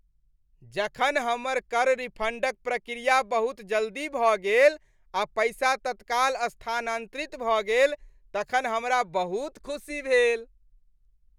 जखन हमर कर रिफंडक प्रक्रिया बहुत जल्दी भऽ गेल आ पैसा तत्काल स्थानांतरित भऽ गेल तखन हमरा बहुत खुशी भेल।